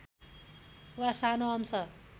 वा सानो अंश